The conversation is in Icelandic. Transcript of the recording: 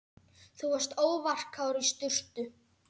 Þú varst óvarkár í sturtu.